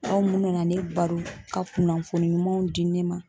aw mun nana ne baro ka kunnafoni ɲumanw di ne ma